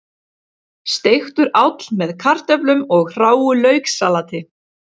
Steiktur áll með kartöflum og hráu lauksalati